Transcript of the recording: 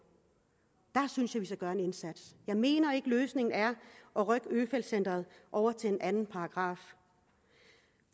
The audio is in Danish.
synes jeg gøre en indsats jeg mener ikke at løsningen er at rykke øfeldt centret over til en anden paragraf